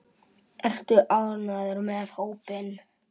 Ertu ánægður með hópinn?